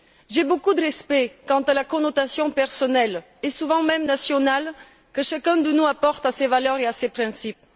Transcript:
J'ai beaucoup de respect quant à la connotation personnelle, et souvent même nationale, que chacun de nous apporte à ces valeurs et à ces principes.